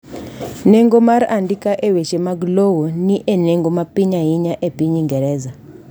nengo mar andika e weche lowo ni e nengo mapiny ainya e pinyingereza